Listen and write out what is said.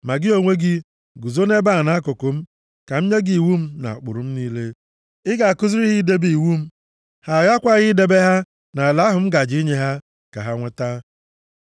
Ma gị onwe gị, guzo nʼebe a nʼakụkụ m, ka m nye gị iwu m na ụkpụrụ m niile, ị ga-akụziri ha idebe iwu m, ha aghakwaghị idebe ha nʼala ahụ m gaje inye ha ka ha nweta.”